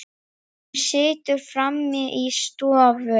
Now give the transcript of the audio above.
Hún situr frammi í stofu.